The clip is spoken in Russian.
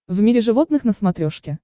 в мире животных на смотрешке